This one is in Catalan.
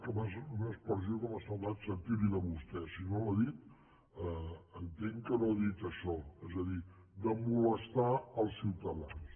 una expressió que m’ha semblat sentir li de vostè si no l’ha dita entenc que no ha dit això és a dir de molestar els ciutadans